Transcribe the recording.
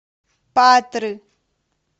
патры